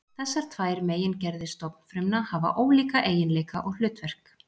Þessar tvær megingerðir stofnfrumna hafa ólíka eiginleika og hlutverk.